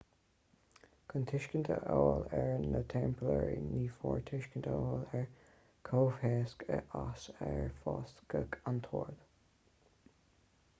chun tuiscint a fháil ar na teamplóirí ní mór tuiscint a fháil ar an gcomhthéacs as ar fáisceadh an t-ord